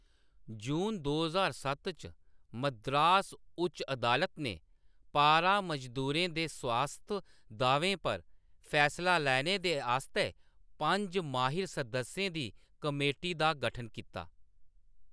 जून दो ज्हार सत्त च, मद्रास उच्च अदालत ने पारा मजदूरें दे स्वास्थ दाह्‌वें पर फैसला लैने दे आस्तै पंज माहिर सदस्यें दी कमेटी दा गठन कीता।